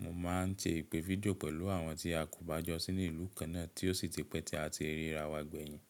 Mo máa ń ṣe ìpè fídíò pẹ̀lú àwọn tí a kò bá jọ sínú ìlú kan náà tí ó sì ti pẹ́ tí a ti ríra wa gbẹ̀yìn.